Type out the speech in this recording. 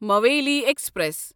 مویٖلی express